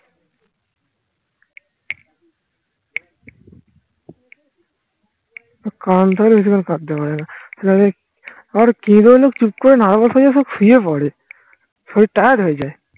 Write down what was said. কান ধরে বেশি করে কাঁপতে পারে না আবার চুপ করে nervous হয়ে সব শুয়ে পরে শরীর tired হয়ে যায়